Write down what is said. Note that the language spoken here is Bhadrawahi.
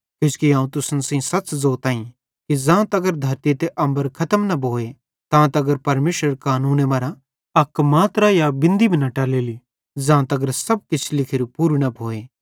किजोकि अवं तुसन सेइं सच़ ज़ोताईं कि ज़ां तगर धरती त अम्बर खतम न भोए तां तगर परमेशरेरे कानूने मरां अक मात्रा या बिंदी भी न टलेली ज़ां तगर सब किछ लिखोरू पूरू न भोए